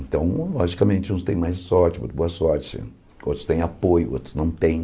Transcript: Então, logicamente, uns têm mais sorte, muito boa sorte, outros têm apoio, outros não têm.